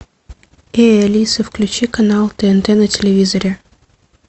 эй алиса включи канал тнт на телевизоре